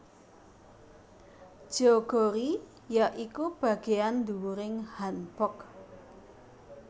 Jeogori ya iku bageyan ndhuwuring hanbok